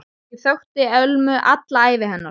Ég þekkti Ölmu alla ævi hennar.